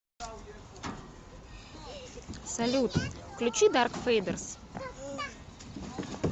салют включи дарк фейдерс